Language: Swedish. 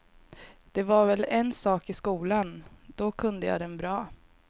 Det var väl en sak i skolan, då kunde jag den bra.